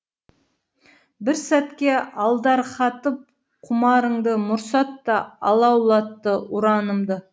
бір сәтке алдарқатып құмарыңды мұрсатта алаулатты ұранымды